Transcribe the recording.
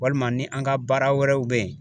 Walima ni an ka baara wɛrɛw bɛ ye